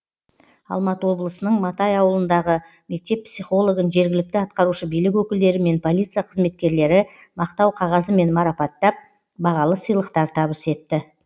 алматы облысының матай ауылындағы мектеп психологын жергілікті атқарушы билік өкілдері мен полиция қызметкерлері мақтау қағазымен марапаттап бағалы сыйлықтар табыс етті